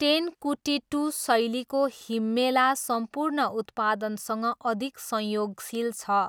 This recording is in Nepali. टेनकुटिट्टू शैलीको हिम्मेला सम्पूर्ण उत्पादनसँग अधिक संयोगशील छ।